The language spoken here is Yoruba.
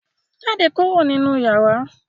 Jáde kúrò nínú yàrá!